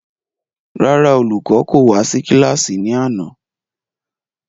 Rárá, olùkọ́ kò wá sí kílàsì ní àná